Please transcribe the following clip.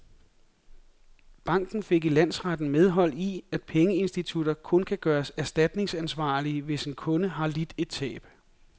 Banken fik i landsretten medhold i, at pengeinstitutter kun kan gøres erstatningsansvarlige, hvis en kunde har lidt et tab.